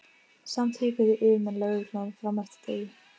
Samt hikuðu yfirmenn lögreglunnar fram eftir degi.